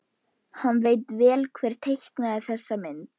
Hann veit vel hver teiknaði þessa mynd.